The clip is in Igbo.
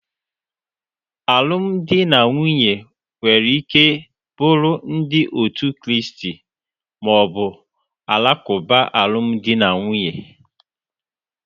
Alụmdi na nwunye nwere ike bụrụ ndi otu Kraist ma ọ bụ Alakuba alụmdi na nwunye.